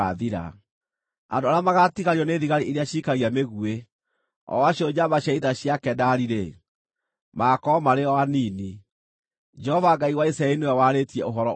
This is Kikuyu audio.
Andũ arĩa magaatigario nĩ thigari iria ciikagia mĩguĩ, o acio njamba cia ita cia Kedari-rĩ, magaakorwo marĩ o anini.” Jehova Ngai wa Isiraeli nĩwe warĩtie ũhoro ũcio.